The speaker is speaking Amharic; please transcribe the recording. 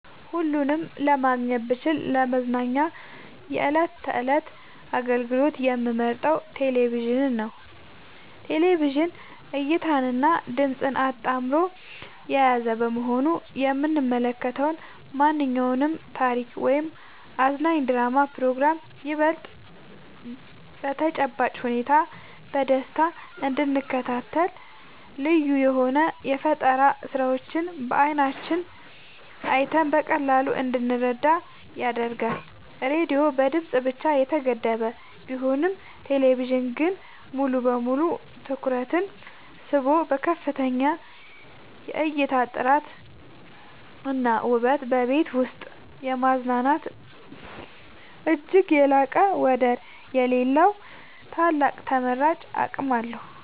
ሁለቱንም ማግኘት ብችል ለመዝናኛ የዕለት ተዕለት አገልግሎት የምመርጠው ቴሌቪዥንን ነው። ቴሌቪዥን እይታንና ድምጽን አጣምሮ የያዘ በመሆኑ የምንመለከተውን ማንኛውንም ታሪክ ወይም አዝናኝ ድራማና ፕሮግራም ይበልጥ በተጨባጭ ሁኔታ በደስታ እንድንከታተልና ልዩ የሆኑ የፈጠራ ስራዎችን በዓይናችን አይተን በቀላሉ እንድንረዳ ያግዘናል። ራዲዮ በድምጽ ብቻ የተገደበ ቢሆንም ቴሌቪዥን ግን ሙሉ በሙሉ ትኩረትን ስቦ በከፍተኛ የእይታ ጥራትና ውበት በቤት ውስጥ የማዝናናት እጅግ የላቀና ወደር የሌለው ታላቅ ተመራጭ አቅም አለው።